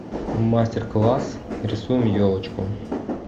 мастер класс рисуем елочку